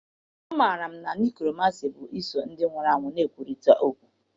Amaara m na Nekromansị pụtara iso ndị nwụrụ anwụ na-ekwurịta okwu.